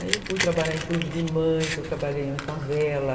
Aí fui trabalhar em clube de mães, eu trabalhei na favela.